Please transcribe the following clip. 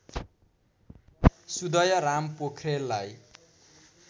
Sudayaram पोख्रेललाई